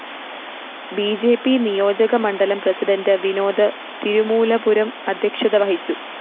B J P നിയോജകമണ്ഡലം president Vinod Thirumoolapuram അദ്ധ്യക്ഷത വഹിച്ചു